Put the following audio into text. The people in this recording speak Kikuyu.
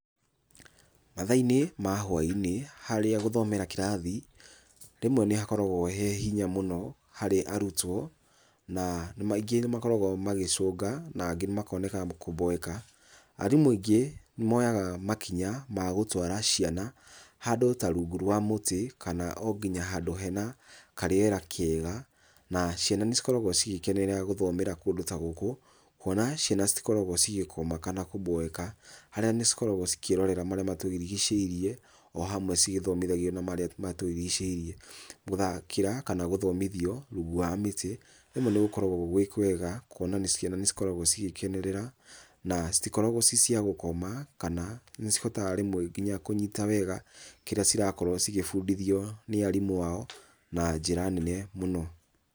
Mathaĩnĩ ma hwainĩ harĩa gũthomera kĩrathi, rĩmwe nĩ hakoragwo he hinya mũno harĩ arũtwo na maingĩ nĩmakoragwo magĩcunga na angĩ kwoneka kũboeka, arimũ aingĩ nĩmoyaga makinya magũtwara ciana handũ ta rungu rwa mũtĩ kana onginya hadũ hena karĩera kega na ciana nĩ cikoragwo cigĩkenerera gũthomera kũndũ ta gũkũ kwona ciana cikoragwa citĩgũkoma kana kũboeka harĩa nĩcikoragwa cikirorera maríĩ matũrigicĩirie ohamwe cigĩthomithagwo na marĩa matũrigicĩirie, gũthakĩra kana gũthomithio rungu rwwa mĩtĩ rĩmwe nĩgũkoragwo gwĩ kwega kwona ciana nĩcikoragwo cigĩkenerera na citikoragwa cia gũkoma kana nĩcikoraga rĩmwe kũnyita wega kĩrĩa cirakorwo cikĩbundithio nĩ arimũ ao na njĩra nene mũno.